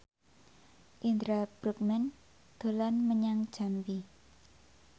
Indra Bruggman dolan menyang Jambi